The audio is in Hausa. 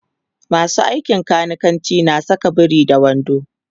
masu aikin kanikanci na Saka biri da wando